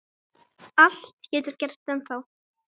Allt getur gerst ennþá.